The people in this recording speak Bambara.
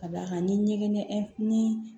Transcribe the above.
Ka d'a kan ni ɲɛgɛn ni